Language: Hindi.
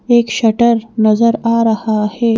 एक शटर नजर आ रहा है।